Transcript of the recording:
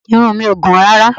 Irun mi ò gùn rárá